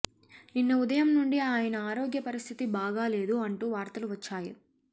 నిన్న ఉదయం నుండి ఆయన ఆరోగ్య పరిస్థితి బాగాలేదు అంటూ వార్తలు వచ్చాయి